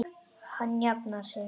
Hann jafnar sig.